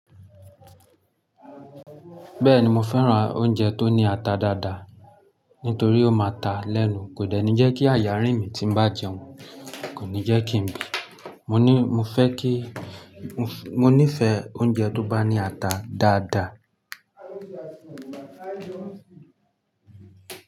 Bẹ́ẹ̀ni mo fẹ́ran oúnjẹ tó ní ata dáadáa, nítorí ó máa ta lẹ́nu. Kò dẹ̀ ní jẹ́ kí àyà rìn mí tí n bá jẹun, kò ní jẹ́ kí n bì. Mọ ní, mo fẹ́ kí, mo ní ífẹ́ oúnjẹ tó bá ní ata dáadáa.